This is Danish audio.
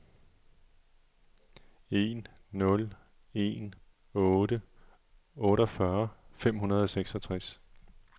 en nul en otte otteogfyrre fem hundrede og seksogtres